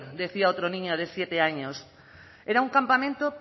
decía otra niña de siete años era un campamento